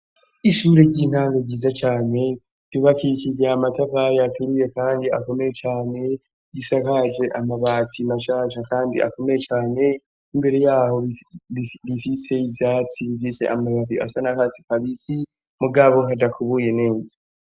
Ishure ry'intango ryiza cane ryubakishije amatafari aturiye kandi akomeye cane, risakaje amabati mashasha kandi akomeye cane ,imbere yaho rifise ivyatsi bifise amababi asa n'akatsi kabisi, mugabo hadakubuye neza